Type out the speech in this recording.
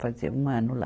Fazia um ano lá.